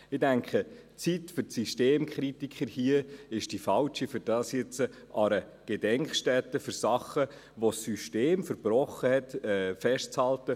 Ich denke, die Zeit für die Systemkritiker ist hier die Falsche, um das jetzt an einer Gedenkstätte für Sachen, die das System verbrochen hat, festzuhalten.